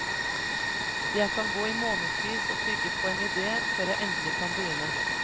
Jeg kan gå i månedsvis å tygge på en ide før jeg endelig kan begynne.